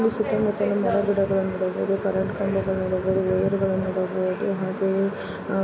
ಇಲ್ಲಿ ಸುತ್ತಮುತ್ತಲು ಮರ-ಗಿಡಗಳನ್ನು ನೋಡಬಹುದು. ಕರೆಂಟ್ ಕಂಬಗಳನ್ನು ನೋಡಬಹುದು ವೈರಗಳನ್ನು ನೋಡಬಹುದು. ಹಾಗೆಯೇ ಅಹ್ --